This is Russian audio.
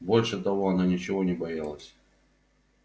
больше того она ничего не боялась